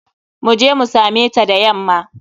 Mu je mu same ta da yamma.